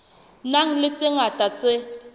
nang le tse ngata tse